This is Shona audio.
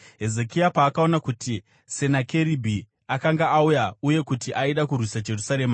Hezekia paakaona kuti Senakeribhi akanga auya uye kuti aida kurwisa Jerusarema,